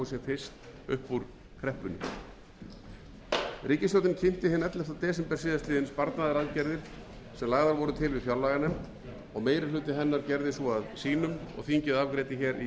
fyrst upp úr kreppunni ríkisstjórnin kynnti hinn ellefta desember síðastliðnum sparnaðaraðgerðir sem lagðar voru til við fjárlaganefnd meiri hluti hennar gerði þær að sínum og þingið afgreiddi þær í atkvæðagreiðslu fyrr á þessum